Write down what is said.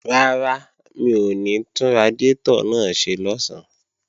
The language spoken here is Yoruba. Rárá, mi ò ní tún radiátọ̀ náà ṣe lọ̀sán